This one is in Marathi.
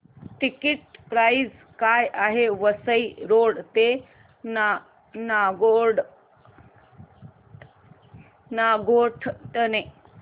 टिकिट प्राइस काय आहे वसई रोड ते नागोठणे